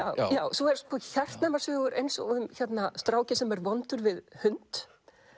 svo eru sko hjartnæmar sögur eins og um strákinn sem er vondur við hund